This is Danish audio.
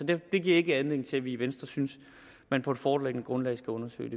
det giver ikke anledning til at vi i venstres synes at man på det foreliggende grundlag skal undersøge